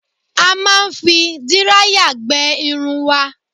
A máa ń fi díráyà gbẹ irun wa